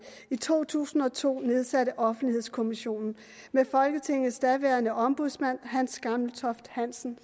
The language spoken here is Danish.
i to tusind og to nedsatte offentlighedskommissionen med folketingets daværende ombudsmand hans gammeltoft hansen